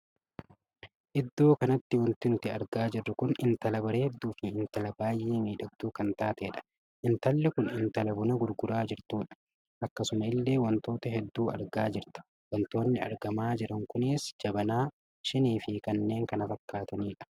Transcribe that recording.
Iddoo kanatti wanti nuti argaa jirru kun intala bareedduu fi intala baay'ee miidhagduu kan taateedha. intalli Kun intala buna gurguraa jirtuudha. akkasuma illee wantoota hedduu argaa jirta. wantootni argamaa jiran kunis jabanaa, shinii, Fi kanneen kana fakkaataniidha.